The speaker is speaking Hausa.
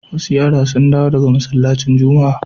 Wasu yara sun dawo daga masallacin Juma'a.